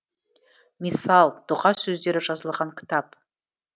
миссал дұға сөздері жазылған кітап